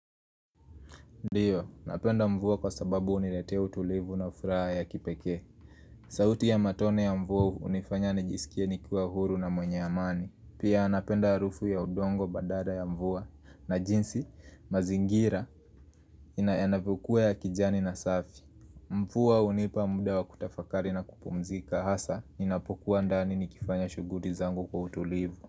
Ndiyo, napenda mvua kwa sababu uniretea utulivu na ufuraa ya kipeke. Sauti ya matone ya mvuwa unifanya nijisikie nikiwa huru na mwenye amani. Pia napenda arufu ya udongo badala ya mvuwa na jinsi, mazingira, inavyokuwa ya kijani na safi. Mvuwa unipa mda wa kutafakari na kupumzika hasa, inapokuwa ndani nikifanya shuguti zangu kwa utulivu.